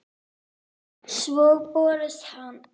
Svo brosti hann.